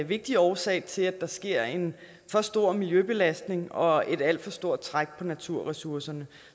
vigtig årsag til at der sker en for stor miljøbelastning og et alt for stort træk på naturressourcerne